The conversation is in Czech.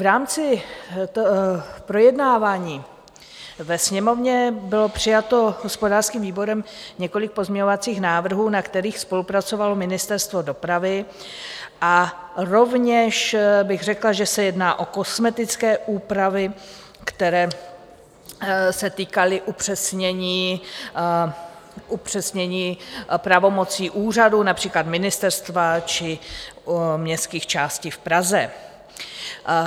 V rámci projednávání ve Sněmovně bylo přijato hospodářským výborem několik pozměňovacích návrhů, na kterých spolupracovalo Ministerstvo dopravy, a rovněž bych řekla, že se jedná o kosmetické úpravy, které se týkaly upřesnění pravomocí úřadů, například ministerstva či městských částí v Praze.